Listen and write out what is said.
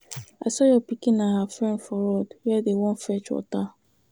I saw your pikin and her friend for road Where dey Wan fetch water.